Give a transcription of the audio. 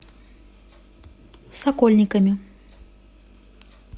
сокольниками